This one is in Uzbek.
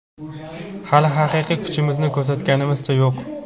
hali haqiqiy kuchimizni ko‘rsatganimizcha yo‘q.